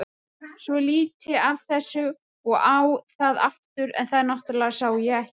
Svo lít ég af þessu og á það aftur en þá náttúrlega sá ég ekkert.